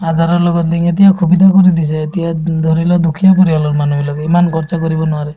আৰু ধৰা লগত এতিয়া সুবিধাও কৰি দিছে এতিয়া ধৰি লোৱা দুখীয়া পৰিয়ালৰ মানুহবিলাকে ইমান খৰচা কৰিব নোৱাৰে